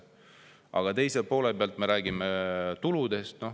Aga teise poole pealt me räägime tuludest.